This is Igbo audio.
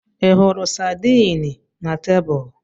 Ị hụrụ sardine na tebụl?